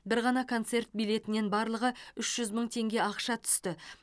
бір ғана концерт билетінен барлығы үш жүз мың теңге ақша түсті